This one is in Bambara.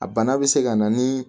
A bana bɛ se ka na ni